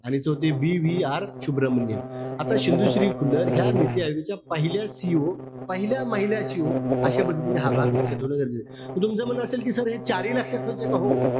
आणि तो ते BVR सुभ्रमण्यम. आता शिंदूशी खुल्लर या नीती आयोगाच्या पहिल्या CEO पहिल्या महिला CEO अशा पद्धतीने हा भाग लक्षात ठेवला जाईल. त तुमचं म्हणणं असेल कि sir हे चारी लक्षात ठेवायचेय का? हो.